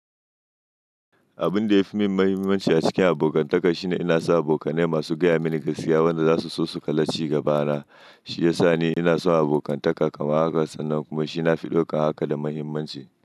Abun da yafi min muhimmanci a cikin abokantaka shine ina samun abokanai masu gaya mini gaskiya, wanda zasu so su kala ci gabana. Shi yasa ne ina son abokantaka kamar haka sannan kuma shi nafi ɗauka haka da muhimmanci.